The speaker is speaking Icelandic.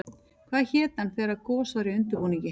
Hvað héti hann þegar gos væri í undirbúningi?